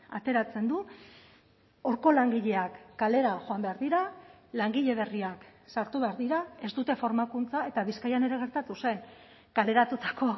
ateratzen du horko langileak kalera joan behar dira langile berriak sartu behar dira ez dute formakuntza eta bizkaian ere gertatu zen kaleratutako